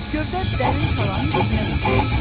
Gövdə dərin çalanın üstünə yıxılıb.